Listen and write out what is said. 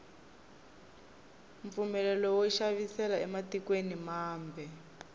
mpfumelelo wo xavisela ematikweni mambe